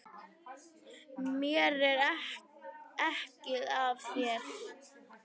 Mér er ekið af þér.